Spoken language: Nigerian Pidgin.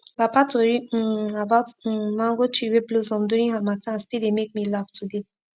papa tori um about um mango tree wey blossom during harmattan still dey make me laugh today